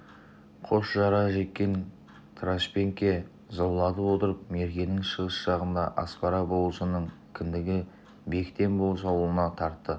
қос қара жеккен трашпеңке заулатып отырып меркенің шығыс жағындағы аспара болысының кіндігі бектен болыс ауылына тартты